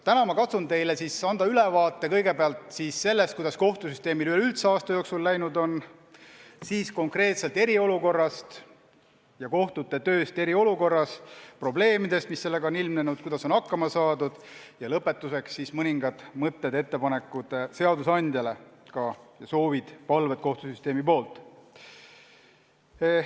Täna ma katsun anda teile ülevaate kõigepealt sellest, kuidas kohtusüsteemil üleüldse aasta jooksul läinud on, siis räägin konkreetselt eriolukorrast ja kohtute tööst eriolukorras ning probleemidest, mis sellega seoses on ilmnenud, kuidas on hakkama saadud, ja lõpetuseks mõningad mõtted-ettepanekud seadusandjale, ka soovid-palved kohtusüsteemi poolt.